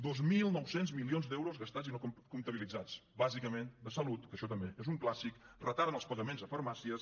dos mil nou cents milions d’euros gastats i no comptabilitzats bàsicament de salut que això també és un clàssic retard en els pagaments a farmàcies